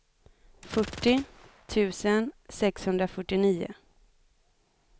fyrtio tusen sexhundrafyrtionio